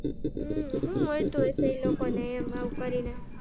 હમ હું મળતું હસું ઈ લોકો ને આવુંહાવ કરીને.